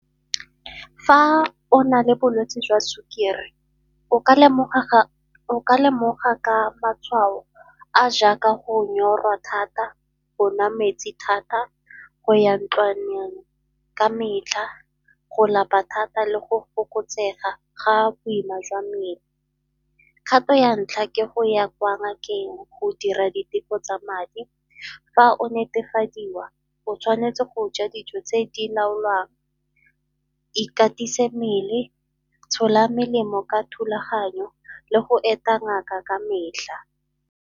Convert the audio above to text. Fa o na le bolwetsi jwa sukiri o ka lemoga ka matshwao a a jaaka go nyorwa thata, go nwa metsi thata, go ya ntlwaneng ka metlha, go lapa thata le go fokotsega ga boima jwa mmele. Kgato ya ntlha ke go ya ko ngakeng go dira diteko tsa madi, fa o netefadiwa o tshwanetse go ja dijo tse di laolwang, ikatise mmele, tshola melemo ka thulaganyo le go eta ngaka ka metlha.